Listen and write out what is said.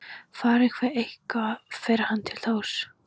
Fari hann eitthvað fer hann til Þórs.